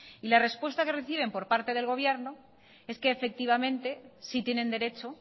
y la respuesta que reciben por parte del gobierno es que efectivamente sí tienen derecho